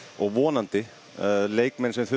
og vonandi leikmenn sem þurfa